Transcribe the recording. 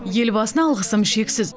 елбасына алғысым шексіз